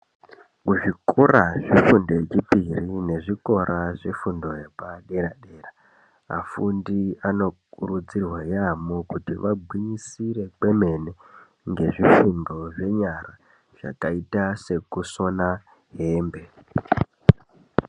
Kuzvikora zvefundo yechipiri, nezvikora nezvefundo dzepadera-dera, afundi anokurudzirwa yaamho kuti agwinyisire kwemene ngezvifundo zvenyara zvakaita sekusona hembe.